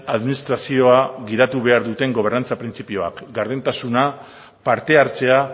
administrazioa gidatu behar duten gobernantza printzipioak gardentasuna parte hartzea